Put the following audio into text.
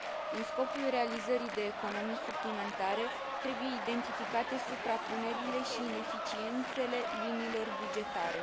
În scopul realizării de economii suplimentare, trebuie identificate suprapunerile și ineficiențele liniilor bugetare.